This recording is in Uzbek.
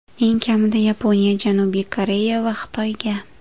Eng kamida Yaponiya, Janubiy Koreya va Xitoyga.